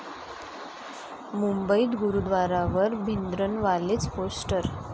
मुंबईत गुरूद्वारावर भिंद्रनवालेचं पोस्टर!